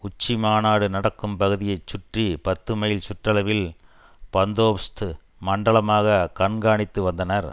உச்சி மாநாடு நடக்கும் பகுதியை சுற்றி பத்து மைல் சுற்றளவில் பந்தோபஸ்து மண்டலமாக கண்காணித்து வந்தனர்